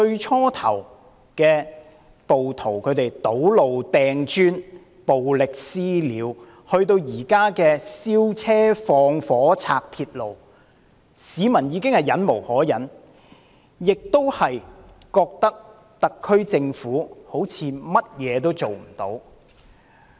暴徒由最初的堵路、擲磚、暴力"私了"，到現在燒車、縱火、破壞鐵路，市民已經忍無可忍，亦感到特區政府似乎甚麼也做不到。